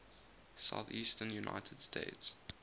southeastern united states